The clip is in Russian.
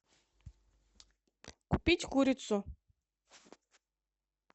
купить курицу